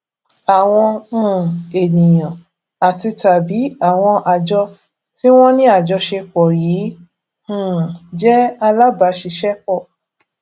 àwọn um ènìyàn àtitàbí àwọn àjọ tí wón ní àjọṣepò yìí um jé alábàáṣiṣépò